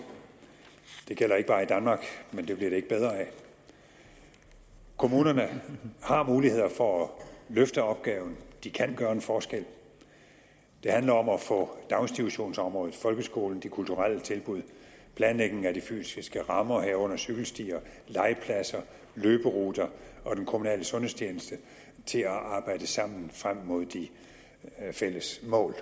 det gælder ikke bare i danmark men det bliver det ikke bedre af kommunerne har muligheder for at løfte opgaven de kan gøre en forskel det handler om at få daginstitutionsområdet folkeskolen de kulturelle tilbud planlægningen af de fysiske rammer herunder cykelstier legepladser løberuter og den kommunale sundhedstjeneste til at arbejde sammen frem mod de fælles mål